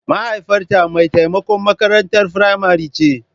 mahaifiyata mai taimakon makarantar firamare ce.